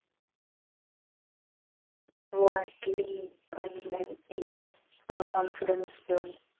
वाटली पण confidence